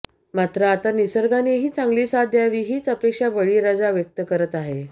मात्र आता निसर्गानेही चांगली साथ द्यावी हीच अपेक्षा बळीराजा व्यक्त करत आहे